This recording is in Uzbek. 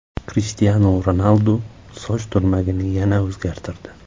Krishtianu Ronaldu soch turmagini yana o‘zgartirdi .